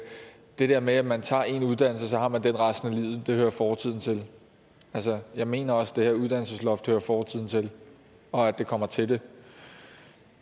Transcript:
det der med at man tager en uddannelse og man den resten af livet hører fortiden til altså jeg mener også at det her uddannelsesloft hører fortiden til og at det kommer til det